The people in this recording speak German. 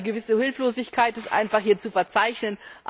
Also eine gewisse Hilflosigkeit ist hier einfach zu verzeichnen.